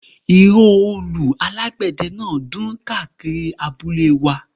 Ìró òòlù alágbẹ̀dẹ ń dún káàkiri abúlé wa